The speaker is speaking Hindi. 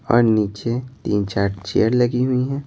और नीचे तीन-चार चेयर लगी हुई हैं।